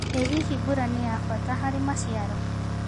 ĩ hihi mbura nĩ ya bata harĩ maciaro.